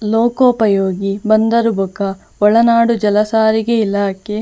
ಲೋಕಾಪಯೋಗಿ ಬಂದರು ಬೊಕ ಒಳನಾಡು ಜಲಸಾರಿಗೆ ಇಲಾಖೆ.